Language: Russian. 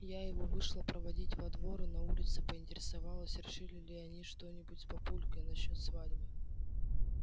я его вышла проводить во двор и на улице поинтересовалась решили ли они что-нибудь с папулькой насчёт свадьбы